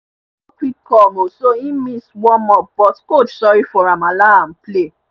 e no quick come so e miss warm up but coach sorry for am allow am play